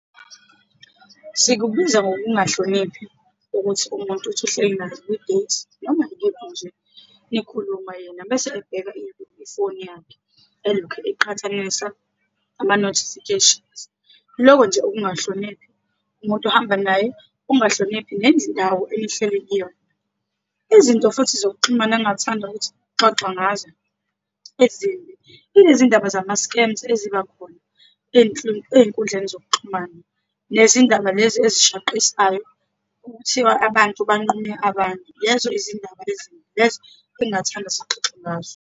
Sikubiza ngokungahloniphi ukuthi umuntu uthi uhleki naye kwi-date, noma ikephi nje, nikhuluma, yena bese ebheka ifoni yakhe, elokhu eqhathanisa ama-notifications. Loko nje ukungahloniphi umuntu uhamba naye, ukungahloniphi nendawo enihleli kuyona. Izinto futhi zokuxhumana engingathanda ukuthi kuxoxa ngazo ezimbi, ilezindaba zama-scams eziba khona ey'nkundleni zokuxhumana, nezindaba lezi ezishaqishayo okuthiwa abantu banqume abantu. Lezo izindaba ezimbi, lezo engingathanda sixoxe ngazo.